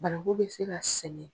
Bananku bɛ se ka sen.